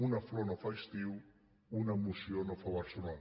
una flor no fa estiu una moció no fa barcelona